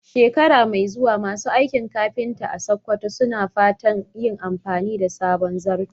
Shekara mai zuwa, masu aikin kafinta a Sakkwato suna fatan yin amfani da sabon zarto.